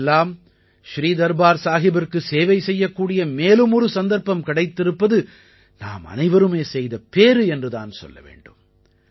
நமக்கெல்லாம் ஸ்ரீ தர்பார் சாஹிபிற்கு சேவை செய்யக்கூடிய மேலும் ஒரு சந்தர்ப்பம் கிடைத்திருப்பது நாம் அனைவருமே செய்த பேறு என்று தான் சொல்ல வேண்டும்